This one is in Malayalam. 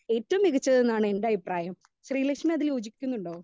സ്പീക്കർ 2 ഏറ്റവും മികച്ചത് എന്നാണ് എന്റെ അഭിപ്രായം ശ്രീ ലക്ഷ്മി അതിൽ യോജിക്കുന്നുണ്ടോ?